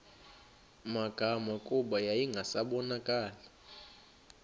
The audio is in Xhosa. magama kuba yayingasabonakali